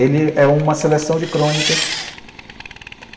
Ele é uma seleção de crônicas.